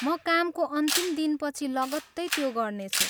म कामको अन्तिम दिनपछि लगत्तै त्यो गर्नेछु।